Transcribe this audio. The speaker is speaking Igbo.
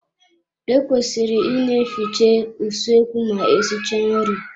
E kwesịrị ị ne-efiche usoekwu ma esichaa nri.